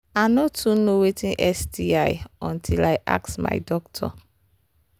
i no too know watin sti until i ask my doctor